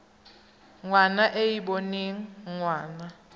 ngwana e e boneng ngwana